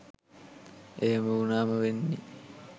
ඒහෙම වුණාම වෙන්නෙ